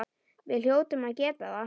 Við hljótum að geta það.